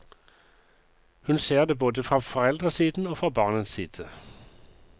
Hun ser det både fra foreldresiden og fra barnets side.